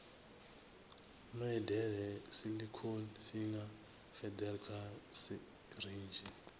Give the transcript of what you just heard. medela silicone finger feeder kha sirinzhi